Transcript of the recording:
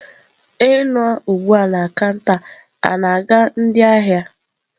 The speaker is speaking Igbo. Onye nọ ugbu a na kanta na-aga ndị ahịa?